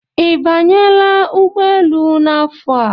I banyela ụgbọ elu n'afọ a.